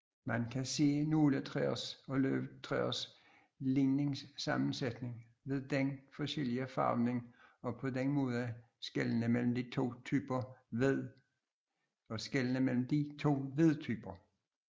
Man kan se nåletræers og løvtræers ligningsammensætning ved den forskellige farvning og på den måde skelne mellem de to vedtyper